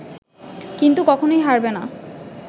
কিন্তু কখনোই হারবে না